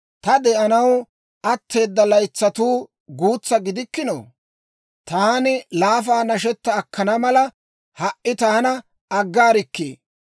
Ta de'anaw atteeda laytsatuu guutsa gidikkinoo? Taani laafaa nashetta akkana mala, ha"i taana aggaarikkii!